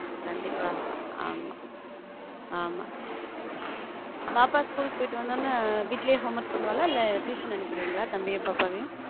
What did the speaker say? கண்டிப்பா ஆமா ஆமா பாப்பா school போயிட்டு வந்த உடனே வீட்டிலேயே home work பண்ணுவாளா இல்ல tuition அனுப்பி விடுவீங்களா தம்பியும் பாப்பாவையும்.